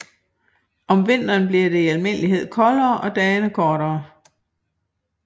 Om vinteren bliver det i almindelighed koldere og dagene kortere